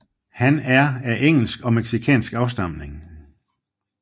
Han er af engelsk og mexicansk afstamning